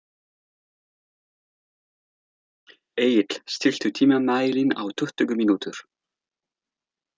Egill, stilltu tímamælinn á tuttugu mínútur.